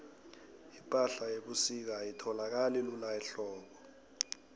ipahla yebusika ayitholakali lula ehlobo